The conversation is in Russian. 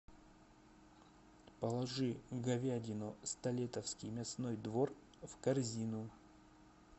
положи говядину столетовский мясной двор в корзину